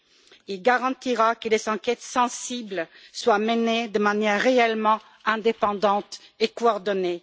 Il garantira que les enquêtes sensibles soient menées de manière réellement indépendante et coordonnée.